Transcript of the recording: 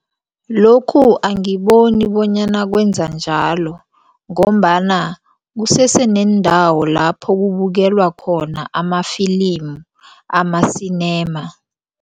Lokhu angiboni bonyana kwenza njalo ngombana kuseseneendawo lapho kubukelwa khona amafilimu ama-cinema.